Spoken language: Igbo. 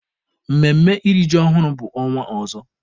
Mmemme iri ji ọhụrụ bụ ọnwa ọzọ.